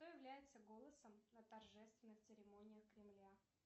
кто является голосом на торжественных церемониях кремля